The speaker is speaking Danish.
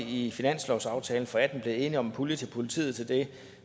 i finanslovsaftalen for atten blevet enige om en pulje til politiet til det